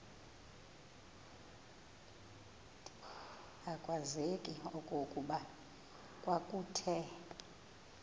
akwazeki okokuba kwakuthe